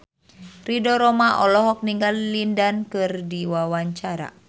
Ridho Roma olohok ningali Lin Dan keur diwawancara